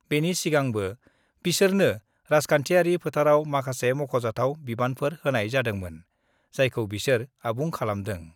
बेनि सिगांबो बिसोरनो राजखान्थियारि फोथाराव माखासे मख'जाथाव बिबानफोर होनाय जादोंमोन, जायखौ बिसोर आबुं खालामदों।